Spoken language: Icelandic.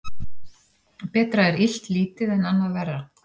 Betra er illt lítið en annað verra.